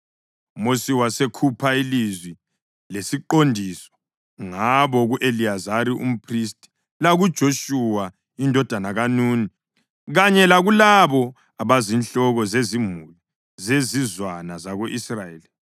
UMosi wasekhupha ilizwi lesiqondiso ngabo ku-Eliyazari umphristi lakuJoshuwa indodana kaNuni kanye lakulabo abazinhloko zezimuli zezizwana zako-Israyeli.